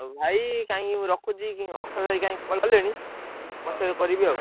ଆଉ ଭାଇ କାଇଁ ରଖୁଚି ଅକ୍ଷୟଭାଇ କାଇଁ call କଲେଣି? ପଛରେ ହଁ କରିବି ଆଉ।